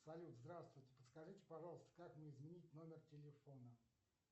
салют здравствуйте подскажите пожалуйста как мне изменить номер телефона